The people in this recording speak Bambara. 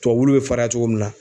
Tubabu wulu be fariya cogo min na